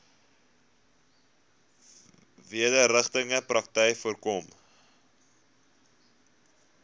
wederregtelike praktyke voorkom